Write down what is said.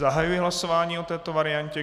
Zahajuji hlasování o této variantě.